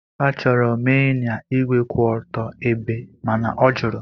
Achọrọ m ịnya ígwè kwụ otu ebe mana ọ jụrụ.